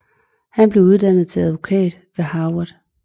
Han blev uddannet til advokat ved Harvard